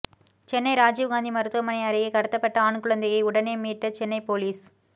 சென்னை ராஜீவ் காந்தி மருத்துவமனை அருகே கடத்தப்பட்ட ஆண் குழந்தையை உடனே மீட்ட சென்னை போலீஸ்